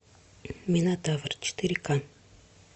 минотавр четыре ка